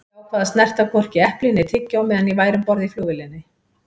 Ég ákvað að snerta hvorki epli né tyggjó meðan ég væri um borð í flugvélinni.